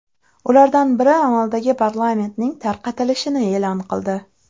Ulardan biri amaldagi parlamentning tarqatilishini e’lon qildi.